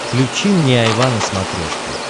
включи мне айва на смотрешке